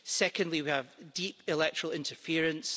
Secondly, we have deep electoral interference.